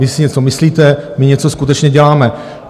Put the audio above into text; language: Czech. Vy si něco myslíte, my něco skutečně děláme.